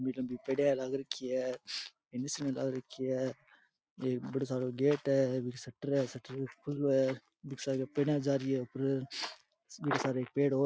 की पेडिया लाग रखी है आ रखी है एक बढ़ो सारो गेट है एक बिरे सटर है सटर खुलो है बीके सागे पेडिया जा रही है ऊपर बीरे सारे एक पेड़ और --